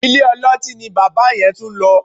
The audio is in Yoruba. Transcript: Ilé-ọlọ́tí ni bàbá yẹn tún lọ